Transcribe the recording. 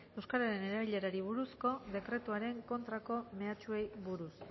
euskararen erabilerari buruzko dekretuaren kontrako mehatxuei buruz